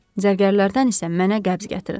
Zərgərlərdən isə mənə qəbz gətirin.